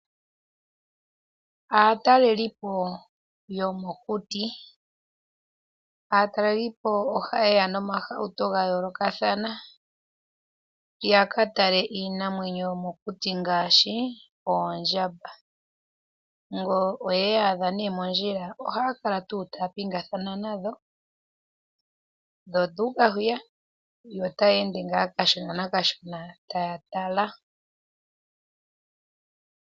Aatalelipo yomokuti. Aatalelipo oha yeya noohauto dha yoolokathana ya katale iinamwenyo yomokuti ngaashi oondjamba, ngele oye yi idha mondjila ohaya kala taya pingathano nadho, yo oyo u uka hwiya yo otaya ende ngaa kashona nakashona taya tala.